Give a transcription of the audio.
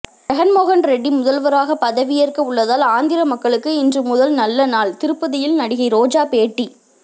ஜெகன்மோகன் ரெட்டி முதல்வராக பதவியேற்க உள்ளதால் ஆந்திர மக்களுக்கு இன்று முதல் நல்ல நாள் திருப்பதியில் நடிகை ரோஜா பேட்டி